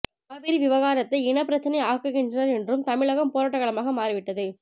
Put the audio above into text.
காவிரி விவகாரத்தை இனப் பிரச்சினை ஆக்குகின்றனர் என்றும் தமிழகம் போராட்டக்களமாக மாறிவிட்டது